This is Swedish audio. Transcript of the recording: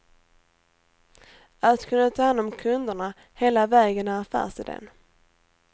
Att kunna ta hand om kunderna hela vägen är affärsiden.